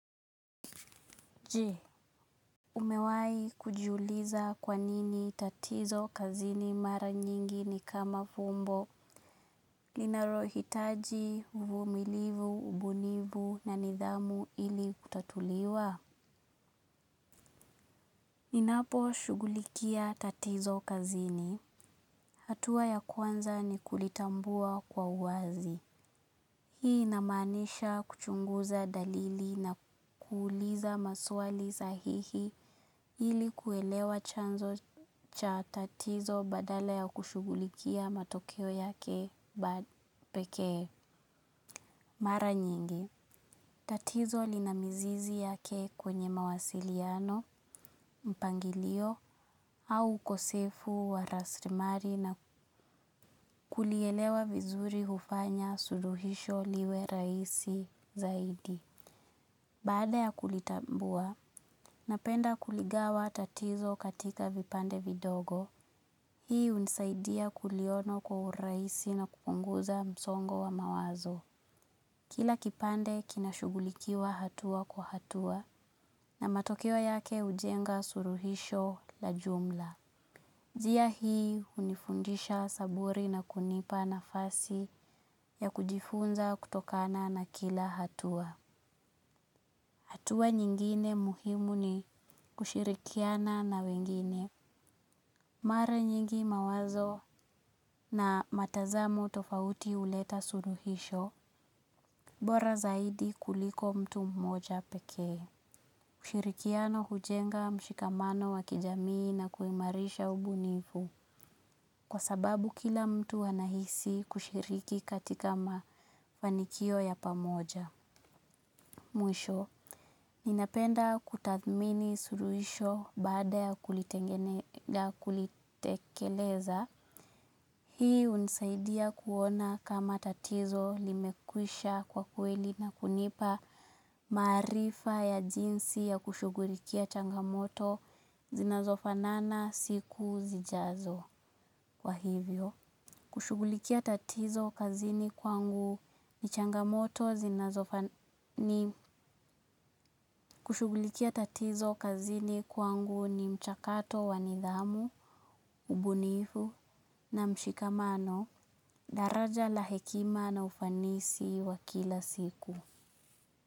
Je, umewai kujiuliza kwa nini tatizo kazini mara nyingi ni kama fumbo linalohitaji uvumilivu, ubunifu na nidhamu ili kutatuliwa. Ninapo shughulikia tatizo kazini. Hatua ya kwanza ni kulitambua kwa uwazi. Hii inamaanisha kuchunguza dalili na kuuliza maswali sahihi ili kuelewa chanzo cha tatizo badala ya kushughulikia matokeo yake pekee mara nyingi. Tatizo lina mizizi yake kwenye mawasiliano, mpangilio au ukosefu wa rasilimali na kulielewa vizuri hufanya suluhisho liwe rahisi zaidi. Baada ya kulitambua, napenda kuligawa tatizo katika vipande vidogo. Hii hunisaidia kuliona kwa urahisi na kupunguza msongo wa mawazo. Kila kipande kina shughulikiwa hatua kwa hatua na matokeo yake hujenga suluhisho la jumla. Njia hii hunifundisha saburi na kunipa nafasi ya kujifunza kutokana na kila hatua. Hatua nyingine muhimu ni kushirikiana na wengine. Mara nyingi mawazo na matazamo tofauti huleta suluhisho. Bora zaidi kuliko mtu mmoja pekee, kushirikiana hujenga mshikamano wa kijamii na kuimarisha ubunifu kwa sababu kila mtu anahisi kushiriki katika mafanikio ya pamoja. Mwisho, ninapenda kutathmini suluhisho baada ya kulitekeleza. Hii hunisaidia kuona kama tatizo limekwisha kwa kweli na kunipa maarifa ya jinsi ya kushughulikia changamoto zinazofanana siku zijazo. Kwa hivyo, kushughulikia tatizo kazini kwangu ni changamoto kazini kwangu ni mchakato wa nidhamu, ubunifu na mshikamano, daraja la hekima na ufanisi wa kila siku.